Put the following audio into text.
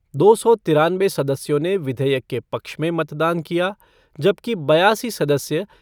दो सौ तिरानवे सदस्यों ने विधेयक के पक्ष में मतदान किया जबकि बयासी सदस्य